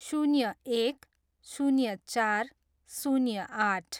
शून्य एक, शून्य चार, शून्य आठ